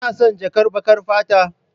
Kuna son jakar baƙar fata?